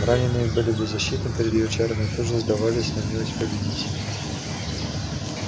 раненые были беззащитны перед её чарами и тут же сдавались на милость победителя